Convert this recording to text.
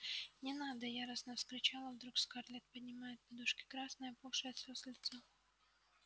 не надо яростно вскричала вдруг скарлетт поднимая от подушки красное опухшее от слёз лицо